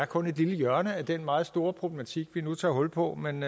kun er et lille hjørne af den meget store problematik vi nu tager hul på men